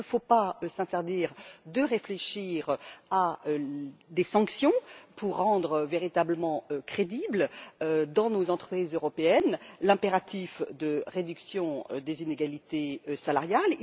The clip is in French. Il ne faut pas s'interdire de réfléchir à des sanctions pour rendre véritablement crédible, dans nos entreprises européennes, l'impératif de réduction des inégalités salariales.